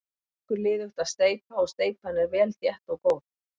Gengur liðugt að steypa og steypan er vel þétt og góð.